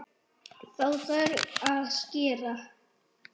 Þá þarf að skera.